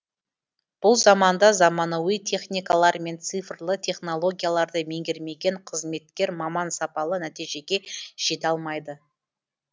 бұл заманда заманауи техникалар мен цифрлы технологияларды меңгермеген қызметкер маман сапалы нәтижеге жете алмайды